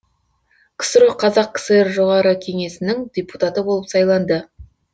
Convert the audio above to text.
ксро қазақ кср жоғарғы кеңесінің депутаты болып сайланды